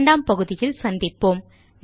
2 ஆம் பகுதியில் சந்திப்போம்